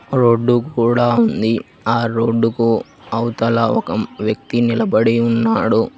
Road కూడ ఉంది ఆ రోడ్డుకు అవతల ఒక వ్యక్తి నిలబడి ఉన్నాడు.